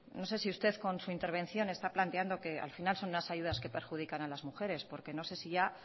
no sé si usted con su intervención está planteando que al final son unas ayudas que perjudican a las mujeres porque no sé si ya